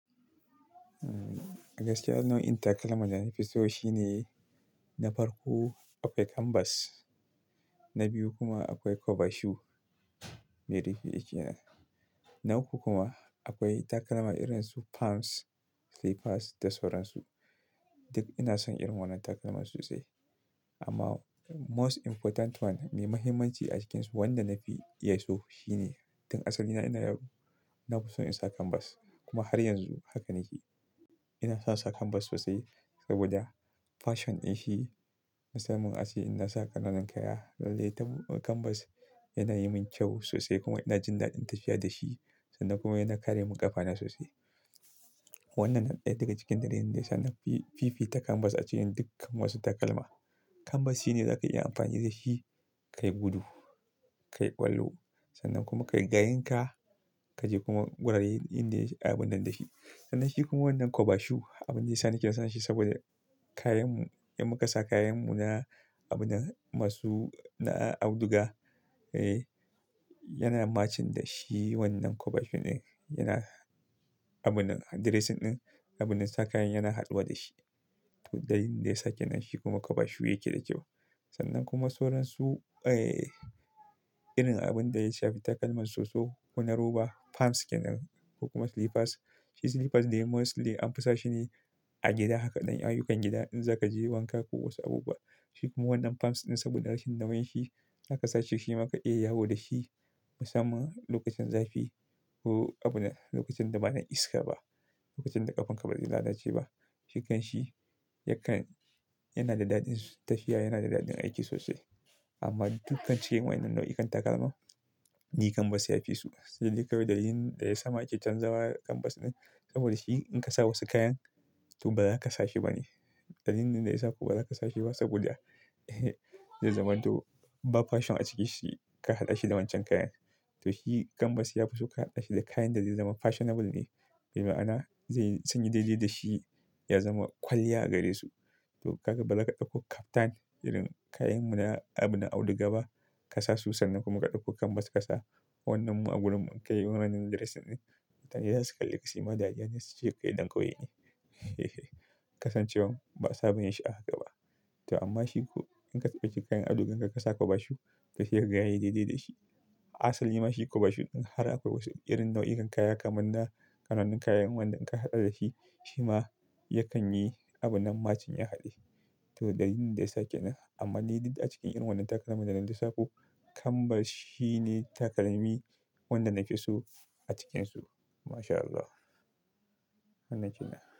Daga saniyaun inta kalman da na fi so shine na farko akwai kanbas, na biyu kuma akwai kwabashu. Na uku kuma akwai takalma irin su palms, slippers da sauransu. Duk ina son irin wannan takalman sosai. Amma most important one mai mahimmanci a cikinsu wanda na fi iya so shine, tun asali na, ina nafi son in sa kanbas kuma har yanzu hakan yake. Ina son sa kanbas sosai saboda fashion in shi musamman ace in na saka ƙananan kaya. Lallai kanbas yana yi min kyau sosai kuma ina jin daɗin tafiya da shi sannan kuma yana kare mun ƙafana sosai. Wannan na ɗaya daga cikin dalilin da ya sa na fi fifita kanbas a cikin dukkan wasu takalma. Kanbas shine za ka iya amfani da shi, ka yi gudu, ka yi ƙwallo sannan kuma ka yi gayenka, ka je kuma wuraren inda abun nan da shi. Sannan shi kuma wannan kwabashu, abune sani ke son shi saboda kayanmu, 'yan makasa kayanmu na abunan masu na auduga, eh yana matching da shi wannan kwabashun din. Yana abunan dressing ɗin, abunan saka yana haduwa da shi. Dalilin da ya sake nan shi kuma kwabashu yake da kyau. Sannan kuma sauransu, eh irin abun da ya shafi takalman soso ko na roba palms kenan ko kuma slippers. Shi slippers dai mostly an fi sa shi ne a gida. Haka dan ayyukan gida in za ka je wanka ko wasu abubuwa. Shi kuma wannan palms ɗin saboda rashin damun shi, za ka saci shi kuma ka iya yawo da shi musamman lokacin zafi ko abun lokacin da ba na iska ba, lokacin da ƙafanka ba za ta lalace ba. Cikanshi yakan-- yana da daɗin tafiya, yana da daɗin aiki sosai. Amma dukkan cikin waɗannan nau'ikan takalma, ni kanbas ya fi so. Dalili kawai dalilin da ya sa muke canzawa kanbas ɗin saboda shi in ka sa wasu kayan to ba za ka sa shi bane. Dalilin da ya sa kuma ba za ka sa shi ba saboda, zai zama to ba fashion a ciki shi ka haɗa shi da wancan kayan. To shi kanbas ya fi so ka haɗa shi da kayan da zai zama fashionable ne. Bi ma'ana zai sanyi daidai da shi ya zama kwalliya gare su. To kaga ba za ka ɗauko kaftan irin kayan mu na abin auduga ba ka sa su sannan kuma ka ɗauko kanbas ka sa wannan mu a gurin munka yi wannan dressing ɗin. Mutane zasu kalli ka suyi ma daɗi har ya na taje kai ɗan ƙauye ne. Kasancewan ba sa ba yin shi a haka ba. To amma shiku in ka taba cikin kayan auduga ka saka kwabashu ka shirya gayen ya daidai da shi. Asalin ma shi kwabashu ɗin har akwai wasu irin nau'ikan kaya kamar na kananun kayan wanda in ka haɗa da shi shi ma yakan yi abunan matching ya haɗe. To dalilin da ya sake nan amma ni duk a cikin irin wannan takalman da na lissafo, kanbas shine takalmi wanda nafi so a cikinsu. MashAllah. Wannan shine.